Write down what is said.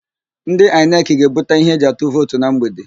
Ndị Aịnekị ga-ebuta íhé eji atụ vootu na mgbede.